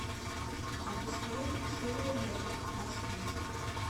запускай ширли мырли аш ди